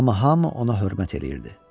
Amma hamı ona hörmət eləyirdi.